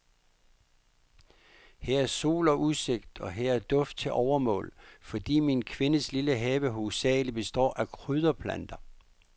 Her er sol og udsigt, og her er duft til overmål, fordi min kvindes lille have hovedsagelig består af krydderplanter.